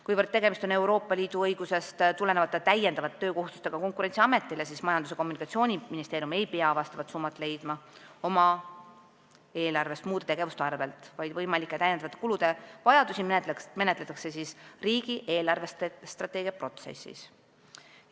Kuivõrd tegemist on Euroopa Liidu õigusest Konkurentsiametile tulenevate täiendavate töökohustustega, siis Majandus- ja Kommunikatsiooniministeerium ei pea vastavat summat leidma oma eelarvest muude tegevuste arvel, vaid võimalike täiendavate kulude vajadust menetletakse riigi eelarvestrateegia protsessis.